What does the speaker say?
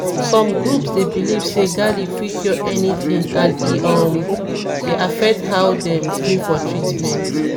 some groups dey believe say garlic fit cure anything and e um dey affect how dem gree for treatment.